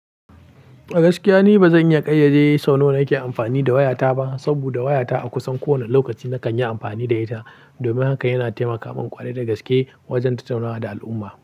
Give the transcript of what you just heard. Gaskiya ni ba zan iya ƙayyade yi sawno na ke amfani da wayata ba, saboda wayata a kusan kowane lokaci na kan yi amfani da ita. Domin haka yana taimaka min ƙwado da gaske wajen tattunawa da al'umma.